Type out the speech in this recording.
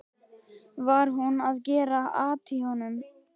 Var hún að gera at í honum?